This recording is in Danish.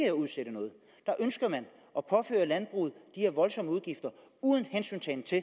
at udsætte noget der ønsker man at påføre landbruget de her voldsomme udgifter uden hensyntagen til